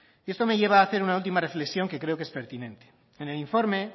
y esto me lleva a hacer una última reflexión que creo que es pertinente en el informe